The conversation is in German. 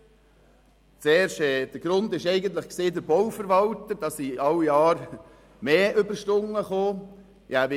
Der Auslöser dafür war der Bauverwalter, der von Jahr zu Jahr mehr Überstunden zu verzeichnen hatte.